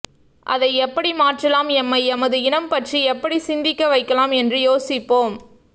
அதை எப்படி மாற்றலாம் எம்மை எமது இனம் பற்றி எப்படி சிந்திக்க வைக்கலாம் என்று யோசிப்போம்